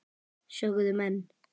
sögðu menn.